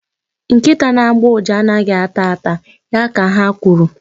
Nkịta na-agbọ uja anaghị ata ata. Ya ka ha kwuru.